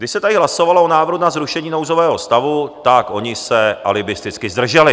Když se tady hlasovalo o návrhu na zrušení nouzového stavu, tak oni se alibisticky zdrželi.